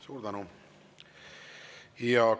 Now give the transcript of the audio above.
Suur tänu!